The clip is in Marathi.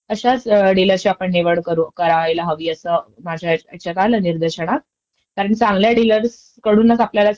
आणि जर जसं तू म्हणला, टेस्ट घ्यायला ते घरीचं येतात आणि मला पणं असं वाटायला गाडीच्या आधी आपल्यला